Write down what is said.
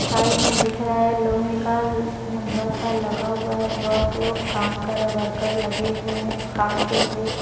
Side में दिख रहा है लोहे का लंबा सा लगा हुआ है लोग काम कर रहे वर्कर लगे हुए हैं काम के लिए।